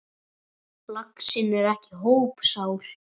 Laxinn er ekki hópsál.